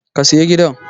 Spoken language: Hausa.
Ka saya gidan!